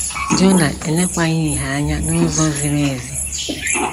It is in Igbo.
Jona elekwaghị ihe anya n’ụzọ ziri ezi.